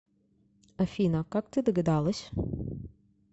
афина как ты догадалась